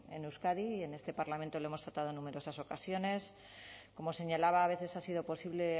en euskadi y en este parlamento lo hemos tratado en numerosas ocasiones como señalaba a veces ha sido posible